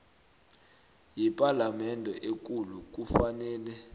yepalamende ekulu kufanele